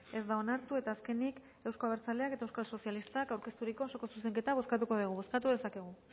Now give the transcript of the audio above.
ez da onartu eta azkenik euzko abertzaleak eta euskal sozialistak aurkezturiko osoko zuzenketa bozkatuko dugu bozkatu dezakegu